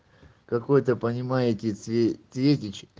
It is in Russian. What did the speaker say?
какой-то понимаете цвет цветички